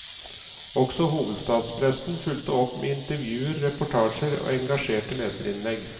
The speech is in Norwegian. Også hovedstadspressen fulgte opp med intervjuer, reportasjer og engasjerte leserinnlegg.